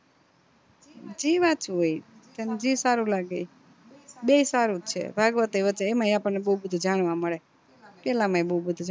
જી વાંચવું હોઈ ઈ તને જી સારું લાગે ઈ બેય સારું છે ભાગવત અય વચાય એમાંય આપણને બૌ બધું જાણવા મળે પેલા માઇ બૌ બધું છે